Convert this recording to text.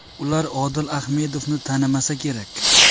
Ular Odil Ahmedovni tanimasa kerak.